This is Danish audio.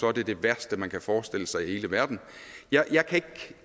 er det det værste man kan forestille sig i hele verden jeg